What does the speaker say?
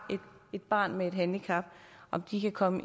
et barn med et handicap om de kan komme